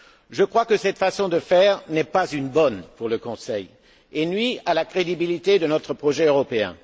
Je crois que cette façon de faire n'est pas la bonne pour le Conseil et qu'elle nuit à la crédibilité de notre projet européen.